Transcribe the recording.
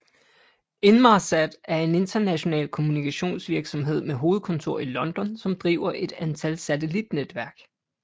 Inmarsat er en international kommunikationsvirksomhed med hovedkontor i London som driver et antal satellitnetværk